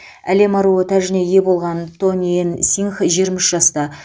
әлем аруы тәжіне ие болған тони энн сингх жиырма үш жаста